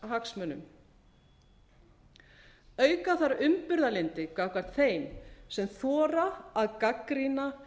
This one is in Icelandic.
samfélagshagsmunum auka þarf umburðarlyndi gagnvart þeim sem þora að gagnrýna